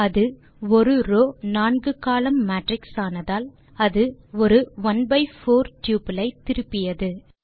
அது ஒரு ரோவ் நான்கு கோலம்ன் மேட்ரிக்ஸ் ஆனதால் அது ஒரு ஒனே பை போர் டப்பிள் ஐ திருப்பியது